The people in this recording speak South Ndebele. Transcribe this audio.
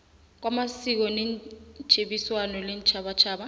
kwamasiko netjhebiswano leentjhabatjhaba